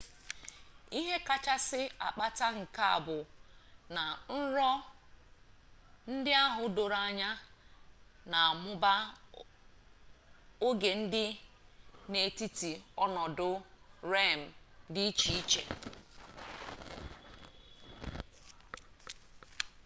ihe kachasị akpata nke a bụ na nrọ ndị ahụ doro anya na-amụba oge dị n'etiti ọnọdụ rem dị iche iche